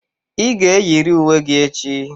Ị ga-eyiri uwe gị echi!